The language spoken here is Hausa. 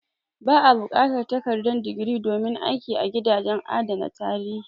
Ba a buƙatar takardar digiri domin aiki a gidajen adana tarihi.